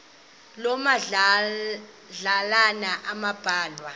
loo madlalana ambalwa